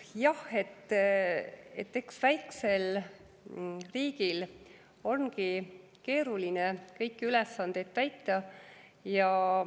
Jah, eks väiksel riigil ongi keeruline kõiki ülesandeid täita.